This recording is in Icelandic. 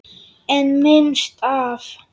En minnst af?